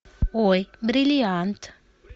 ой бриллиант